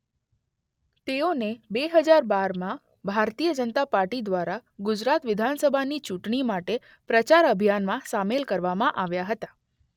તેઓને બે હજાર બારમાં ભારતીય જનતા પાર્ટી દ્વારા ગુજરાત વિધાનસભાની ચુંટણી માટે પ્રચાર અભિયાનમાં સામેલ કરવામાં આવ્યા હતા.